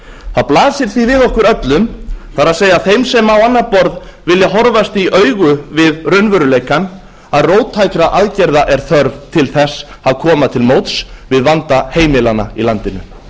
það blasir því við okkur öllum það er þeim sem á annað borð vilja horfast í augu við raunveruleikann að róttækra aðgerða er þörf til þess að koma til móts við vanda heimilanna í landinu